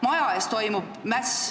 Maja ees toimub mäss.